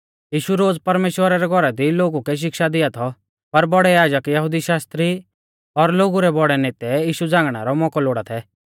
यीशु रोज़ परमेश्‍वरा रै घौरा दी लोगु लै शिक्षा दिआ थौ पर बौड़ै याजक यहुदी शास्त्री और लोगु रै बौड़ै नेतै यीशु झ़ांगणै रौ मौकौ लोड़ा थै